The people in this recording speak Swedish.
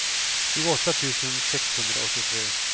tjugoåtta tusen sexhundraåttiotre